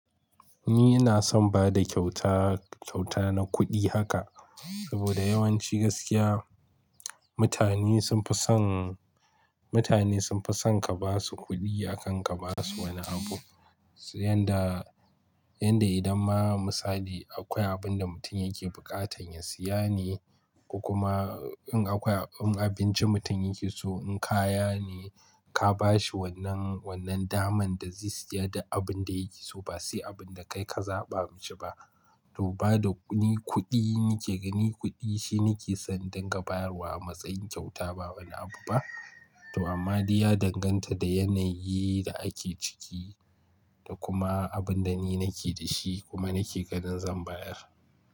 Ni ina son bada kyauta, kyauta na kuɗi haka saboda yawanci gaskiya mutane sun fi son, mutane sun fi son ka basu kuɗi akan ka basu wani abu. Yanda, yanda idan ma misali akwai abun da mutum yake buƙatan ya siya ne kuma in akwai abincin mutum yake so in kaya ne ka bashi wannan, wannan daman da zai siya da abun da yake so ba sai abun da kai ka zaɓa mishi ba. To bada ni kuɗi, ni ke gani kuɗi shine ke son dangantawar wa matsayin kyauta ba wani abu ba. To amma dai ya danganta da yanayi da ake ciki da kuma abun da ni nake da shi kuma nake ganin zan bayar.